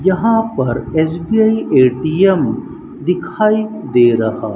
यहां पर SBI ATM दिखाई दे रहा--